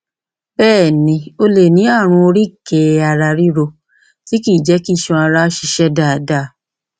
bẹẹ ni o lè ní ààrùn oríkèéararíro tí kìí jẹ kí iṣan ara ṣiṣẹ dáadáa